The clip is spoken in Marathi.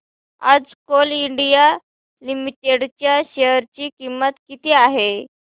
आज कोल इंडिया लिमिटेड च्या शेअर ची किंमत किती आहे